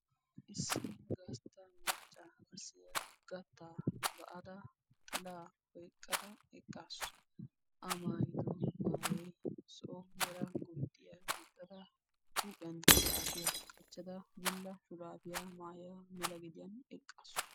Issi gastta maccassiya gattaa ba'adda yanxxilla oyqqadda eqqaassu. I mattankka darobbay de'ees.